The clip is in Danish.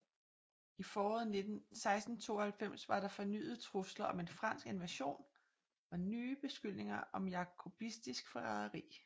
I foråret 1692 var der fornyede trusler om en fransk invasion og nye beskyldninger om jakobistisk forræderi